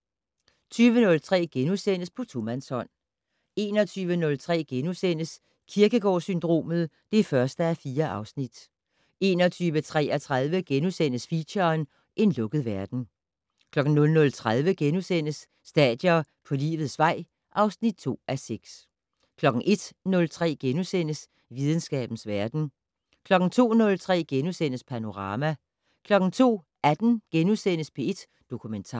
20:03: På tomandshånd * 21:03: Kierkegaard-syndromet (1:4)* 21:33: Feature: En lukket verden * 00:30: Stadier på livets vej (2:6)* 01:03: Videnskabens verden * 02:03: Panorama * 02:18: P1 Dokumentar *